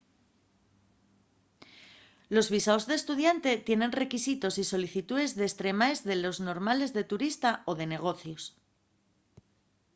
los visaos d'estudiante tienen requisitos y solicitúes destremaes de les normales de turista o de negocios